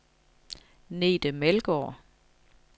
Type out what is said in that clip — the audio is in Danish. Nete Melgaard